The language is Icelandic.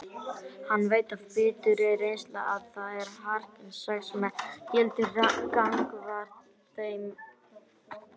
Hann veit af biturri reynslu að það er harkan sex sem gildir gagnvart þeim.